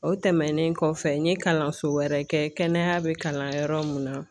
O tɛmɛnen kɔfɛ n ye kalanso wɛrɛ kɛ kɛnɛya bɛ kalan yɔrɔ mun na